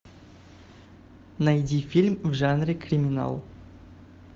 найди фильм в жанре криминал